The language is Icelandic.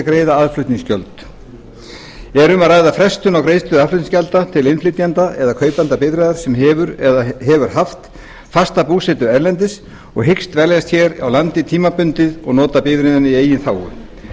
greiða aðflutningsgjöld er um að ræða frestun á greiðslu aðflutningsgjalda til innflytjanda eða kaupanda bifreiðar sem hefur eða hefur haft fasta búsetu erlendis og hyggst dveljast hér á landi tímabundið og nota bifreiðina í eigin þágu